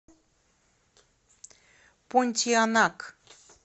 понтианак